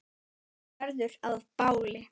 Verður að báli.